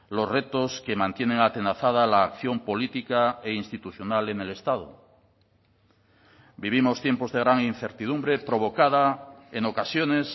los retos que mantienen atenazada la acción política e institucional en el estado vivimos tiempos de gran incertidumbre provocada en ocasiones